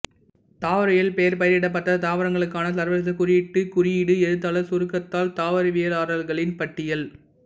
தாவரவியல் பெயர் பயிரிடப்பட்ட தாவரங்களுக்கான சர்வதேச குறியீட்டு குறியீடு எழுத்தாளர் சுருக்கத்தால் தாவரவியலாளர்களின் பட்டியல்